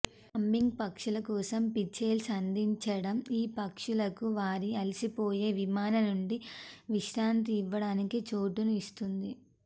humming పక్షుల కోసం పిచెల్స్ అందించడం ఈ పక్షులకు వారి అలసిపోయే విమాన నుండి విశ్రాంతి ఇవ్వడానికి చోటును ఇస్తుంది